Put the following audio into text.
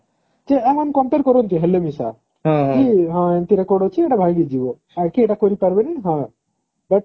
ଯେ compare କରନ୍ତି ହେଲେ ବି କି ହଁ ଏମିତି record ଅଛି ସେଟା ଭାଙ୍ଗି ଯିବ ଆଉ କିଏ ଏଟା କରି ପାରିବନି ହଁ